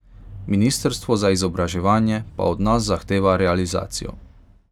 Ministrstvo za izobraževanje pa od nas zahteva realizacijo.